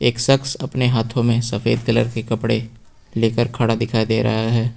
एक शख्स अपने हाथों में सफेद कलर के कपड़े लेकर खड़ा दिखाई दे रहा है।